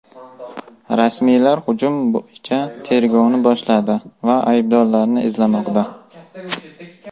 Rasmiylar hujum bo‘yicha tergovni boshladi va aybdorlarni izlamoqda.